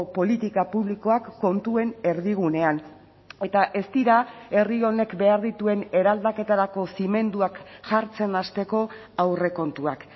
politika publikoak kontuen erdigunean eta ez dira herri honek behar dituen eraldaketarako zimenduak jartzen hasteko aurrekontuak